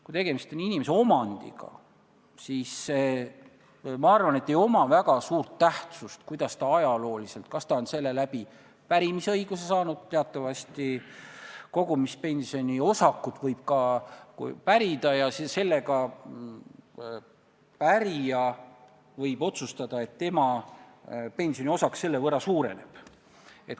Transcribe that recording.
Kui tegemist on inimese omandiga, siis ma arvan, et ei oma väga suur tähtsust, kas ta on saanud selle pärimisõiguse kaudu – teatavasti võib kogumispensioni osakuid ka pärida ja pärija võib otsustada, et tema pensioniosak selle võrra suureneb.